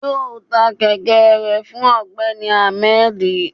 yọọ tá kẹkẹ rẹ fún ọgbẹni ahmed